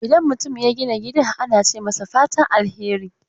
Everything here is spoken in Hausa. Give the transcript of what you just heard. Idan mutum ya gina gida ana ce masa fatan alheri